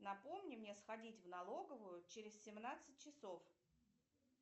напомни мне сходить в налоговую через семнадцать часов